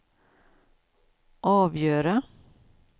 avgöra